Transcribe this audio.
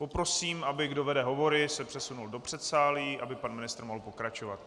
Poprosím, aby kdo vede hovory, se přesunul do předsálí, aby pan ministr mohl pokračovat.